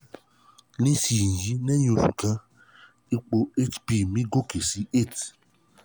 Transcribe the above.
nísìnyì lẹ́yìn oṣù kan ipò hb mi gòkè sí eight